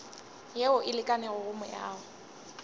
yeo e lekanego go meago